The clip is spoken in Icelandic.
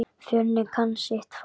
Fjölnir kann sitt fag.